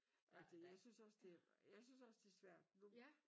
Og det jeg synes også det jeg synes også det svært nu